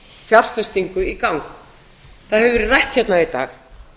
fjárfestingu í gang það hefur verið rætt hérna í dag